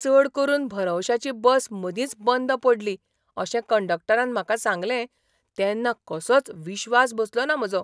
चड करून भरवंशाची बस मदींच बंद पडली अशें कंडक्टरान म्हाका सांगलें तेन्ना कसोच विश्वास बसलो ना म्हजो !